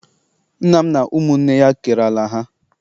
Nna m na ụmụnne ya kere ala ha.